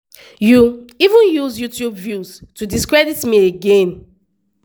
you even use youtube views to discredit me again.